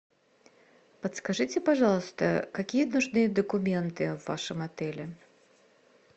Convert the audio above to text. подскажите пожалуйста какие нужны документы в вашем отеле